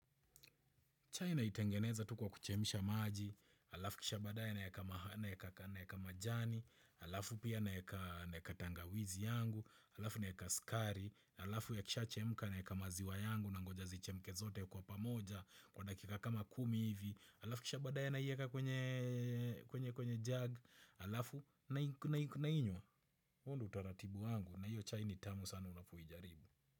Chai naitengeneza tu kwa kuchemsha maji, alafu kisha baadaye naeka majani, alafu pia, naeka tangawizi yangu, alafu naeka skari, alafu yakisha chemka naeka maziwa yangu na ngoja zichemke zote kwa pamoja, kwa dakika kama kumi hivi, alafu kisha badaya naieka kwenye kwenye jag, alafu nainywa. Huo ndo utaratibu wangu na hio chai ni tamu sana unapoijaribu.